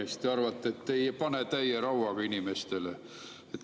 Ja siis te arvate, et ei pane täie rauaga inimestele.